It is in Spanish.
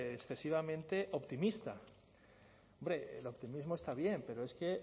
excesivamente optimista hombre el optimismo está bien pero es que